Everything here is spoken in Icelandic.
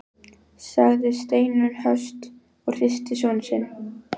sagði Steinunn höst og hristi son sinn.